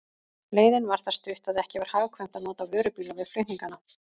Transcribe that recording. Leiðin var það stutt, að ekki var hagkvæmt að nota vörubíla við flutningana.